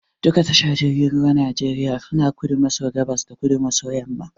Duk tashar jirgin ruwan Najeriya suna kudu maso gabas da kudu maso yamma.